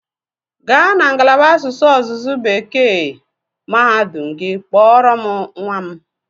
Gaa na ngalaba asụsụ ọzụzụ Bekee mahadum gị kpọrọ m nwa m!